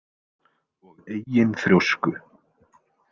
Og eigin þrjósku.